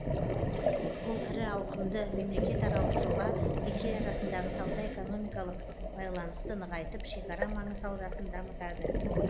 бұл ірі ауқымды мемлекетаралық жоба екі ел арасындағы сауда экономикалық байланысты нығайтып шекара маңы саудасын дамытады